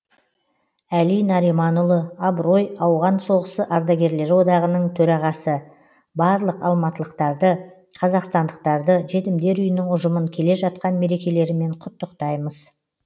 әли нариманұлы абырой ауған соғысы ардагерлері одағының төрағасы барлық алматылықтарды қазақстандықтарды жетімдер үйінің ұжымын келе жатқан мерекелерімен құттықтаймыз